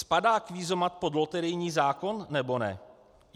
Spadá kvízomat pod loterijní zákon, nebo ne?